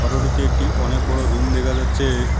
Photo -টিতে একটি অনেক বড় রুম দেখা যাচ্ছে।